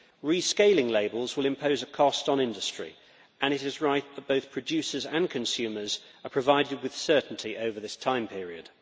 Rescaling labels will impose a cost on industry and it is right that both producers and consumers are provided with certainty over this time period.